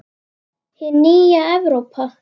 Hin nýja Evrópa!